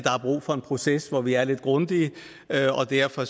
er brug for en proces hvor vi er lidt grundige og derfor